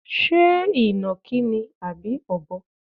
Ṣé ìnàkí ni àbí Ọ̀bọ?